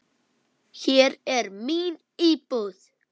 Hér er mín íbúð!